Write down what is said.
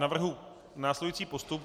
Navrhuji následující postup.